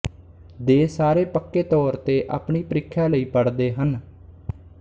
ਦੇ ਸਾਰੇ ਪੱਕੇ ਤੌਰ ਤੇ ਆਪਣੀ ਪ੍ਰੀਖਿਆ ਲਈ ਪੜ੍ਹਦੇ ਹਨ